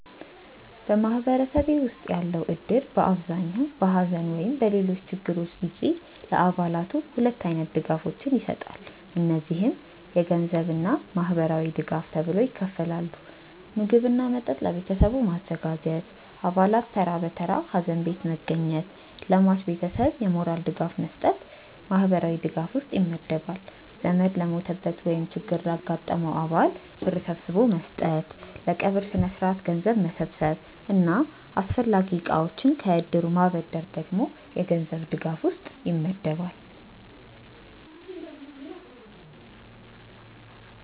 በማህበረሰቤ ውስጥ ያለው እድር በአብዛኛው በሐዘን ወይም በሌሎች ችግሮች ጊዜ ለአባላቱ ሁለት አይነት ድጋፎችን ይሰጣል። እነዚህም የገንዘብ እና ማህበራዊ ድጋፍ ተብለው ይከፈላሉ። ምግብ እና መጠጥ ለቤተሰቡ ማዘጋጀት፣ አባላት ተራ በተራ ሀዘን ቤት መገኘት፣ ለሟች ቤተሰብ የሞራል ድጋፍ መስጠት ማህበራዊ ድጋፍ ውስጥ ይመደባል። ዘመድ ለሞተበት ወይም ችግር ላጋጠመው አባል ብር ሰብስቦ መስጠት፣ ለቀብር ስነስርዓት ገንዘብ መሰብሰብ እና አስፈላጊ እቃዎችን ከእድሩ ማበደር ደግሞ የገንዘብ ድጋፍ ውስጥ ይመደባል።